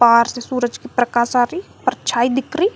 बाहर से सूरज की प्रकाश आ री और छाई दिख री--